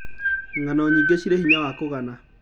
Ng'ano nyingĩ cirĩ hinya wa kũgana.